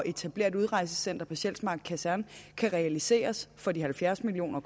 at etablere et udrejsecenter på sjælsmark kaserne kan realiseres for de halvfjerds million